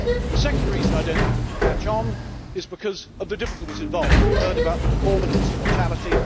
The second reason I do not think it will catch on is because of the difficulties involved. We have heard about the deformities and mortality.